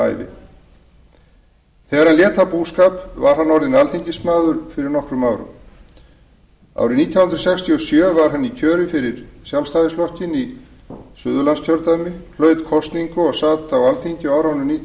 ævi þegar hann lét af búskap var hann orðinn alþingismaður fyrir nokkrum árum árið nítján hundruð sextíu og sjö var hann í kjöri fyrir sjálfstæðisflokkinn í suðurlandskjördæmi hlaut kosningu og sat á alþingi á árunum nítján